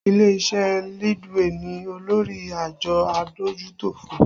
Ilé iṣẹ́ Leadway ni olórí àjọ adójútòfò